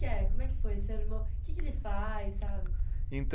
Que é? Como é que foi, seu irmão. Que que ele faz, sabe.